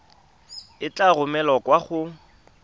e tla romelwa kwa go